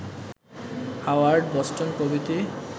Howard, Boston প্রভৃতি